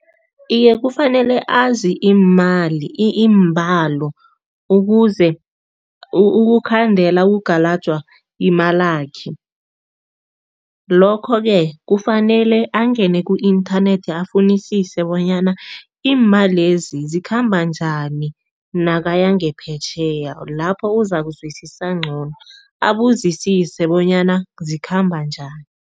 Iye, kufanele azi imali iimbalo ukuze ukukhandela okugalajwa imalakhe. Lokho-ke kufanele angene ku-inthanethi afunisise bonyana iimalezi zikhamba njani nakaya ngaphetjheya, lapho uzakuzwisisa ngcono, abuzisise bonyana zikhamba njani.